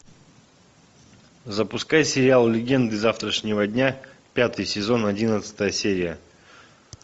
запускай сериал легенды завтрашнего дня пятый сезон одиннадцатая серия